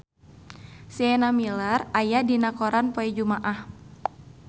Sienna Miller aya dina koran poe Jumaah